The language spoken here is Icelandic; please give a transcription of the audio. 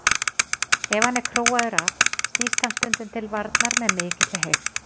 Ef hann er króaður af snýst hann stundum til varnar með mikilli heift.